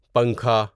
پنکھا